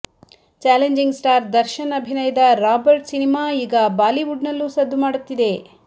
challenging star Darshan ಅಭಿನಯದ Robert cinema ಈಗ ಬಾಲಿವುಡ್ನಲ್ಲೂ ಸದ್ದು ಮಾಡುತ್ತಿದೆ